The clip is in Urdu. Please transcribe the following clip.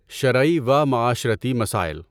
شرعی و معاشرتی مسائل